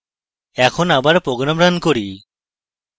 এখন আবার program run করি